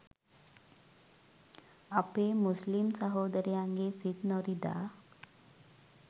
අපේ මුස්ලිම් සහෝදරයන්ගේ සිත් නොරිදා